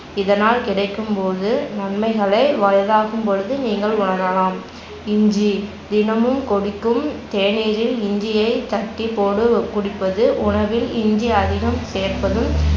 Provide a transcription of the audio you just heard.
இதனால் கிடைக்கும்போது நன்மைகளை வயதாகும்பொழுது நீங்கள் உணரலாம். இஞ்சி தினமும் கொதிக்கும் தேநீரில் இஞ்சியைத் தட்டிபோடு குடிப்பது உணவில் இஞ்சி அதிகம் சேர்ப்பதும்